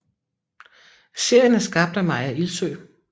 Serien er skabt af Maya Ilsøe